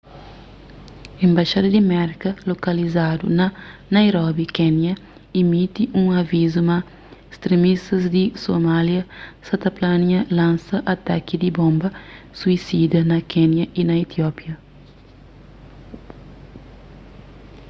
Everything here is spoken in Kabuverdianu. enbaxada di merka lokalizadu na nairobi kénia imiti un avizu ma stremistas di somália sa ta plania lansa ataki di bonba suisida na kénia y na etiópia